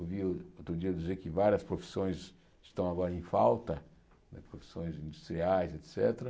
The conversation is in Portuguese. Ouvi outro dia dizer que várias profissões estão agora em falta, profissões industriais, et cétera.